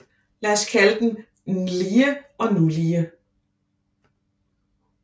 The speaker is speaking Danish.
Lad os kalde dem Nlige og Nulige